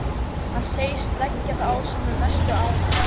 Hann segist leggja það á sig með mestu ánægju.